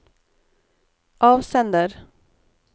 avsender